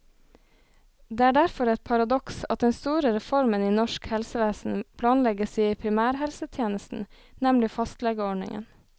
Det er derfor et paradoks at den store reformen i norsk helsevesen planlegges i primærhelsetjenesten, nemlig fastlegeordningen.